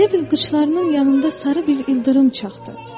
Elə bil qıçlarımın yanında sarı bir ildırım çaxdı.